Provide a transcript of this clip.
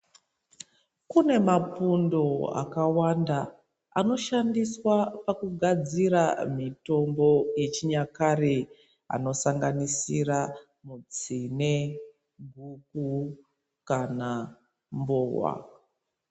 Kune mapundo akawanda anoshandiswa pakugadzira mitombo yechinyakare anosanganisira tsine guku kana mbowa .